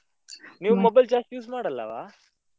ನೀವ್ mobile ಜಾಸ್ತಿ use ಮಾಡಲ್ಲವಾ?